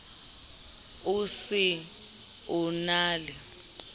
o se o na le